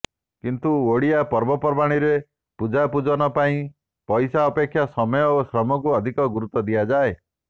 କିନ୍ତୁ ଓଡ଼ିଆ ପର୍ବପର୍ବାଣିରେ ପୂଜା ପୂଜନ ପାଇଁ ପଇସା ଅପେକ୍ଷା ସମୟ ଓ ଶ୍ରମକୁ ଅଧିକ ଗୁରୁତ୍ୱ ଦିଆଯାଏ